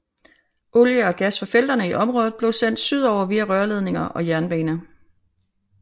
Olie og gas fra felterne i området bliver sendt sydover via rørledninger og jernbane